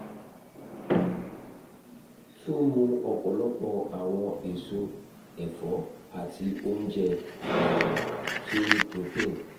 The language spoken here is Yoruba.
tun mu ọpọlọpọ awọn eso ẹfọ ati ounjẹ um ti o ni protein